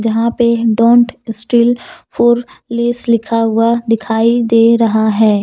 वहां पे don't steal for less लिखा हुआ दिखाई दे रहा है।